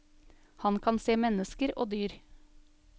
Han kan se mennesker og dyr.